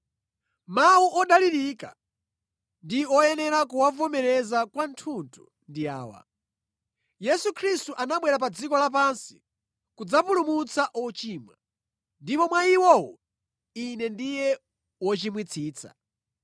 Mawu odalirika ndi woyenera kuwavomereza kwathunthu ndi awa: Yesu Khristu anabwera pa dziko lapansi kudzapulumutsa ochimwa, ndipo mwa iwowo ine ndiye wochimwitsitsa.